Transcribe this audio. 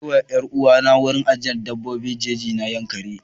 Ina kai 'yar uwana wurin ajiyar dabbobin jeji na yankaree.